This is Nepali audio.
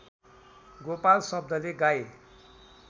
गोपाल शब्दले गाई